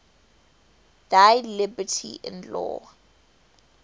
thy liberty in law